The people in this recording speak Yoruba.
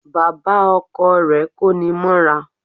Bàbá Ọkọ rè kóni mọ́ra